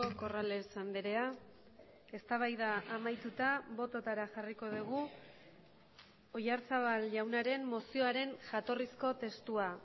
corrales andrea eztabaida amaituta bototara jarriko dugu oyarzabal jaunaren mozioaren jatorrizko testua